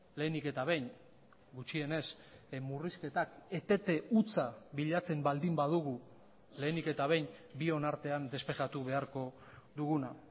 lehenik eta behin gutxienez murrizketak etete hutsa bilatzen baldin badugu lehenik eta behin bion artean despejatu beharko duguna